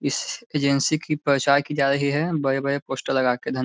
इस एजेंसी की प्रचार की जा रही है बड़े-बड़े पोस्टर लगा कर धन --